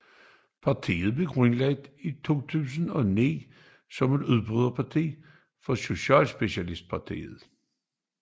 Partiet er grundlagt i 2009 som et udbryderparti fra Socialistpartiet